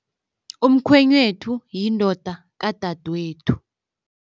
Umkhwenyethu yindoda kadadwethu.